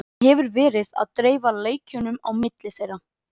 Hann hefur verið að dreifa leikjunum á milli þeirra.